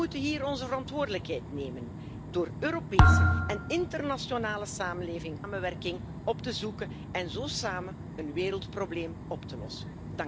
Wij moeten hier onze verantwoordelijkheid nemen door Europese en internationale samenwerking op te zoeken en zo samen een wereldprobleem op te lossen.